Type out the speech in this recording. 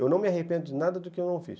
Eu não me arrependo de nada do que eu não fiz.